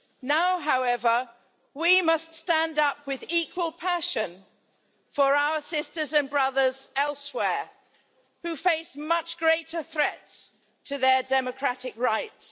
Now, however, we must stand up with equal passion for our sisters and brothers elsewhere who face much greater threats to their democratic rights.